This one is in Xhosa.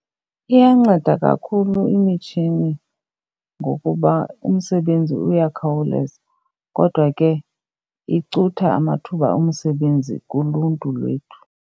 Iyanceda kakhulu imitshini ngokuba umsebenzi uyakhawuleza. Kodwa ke icutha amathuba omsebenzi kuluntu lwethu.